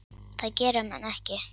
Það gera menn ekki.